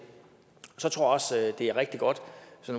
er rigtig godt